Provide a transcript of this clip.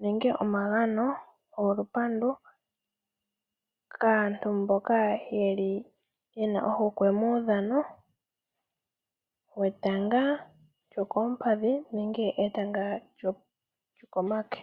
nenge omagano golupandu, kaantu mboka ye li yena ohokwe muudhano wetanga lyokoompadhi nenge etanga lyokomake.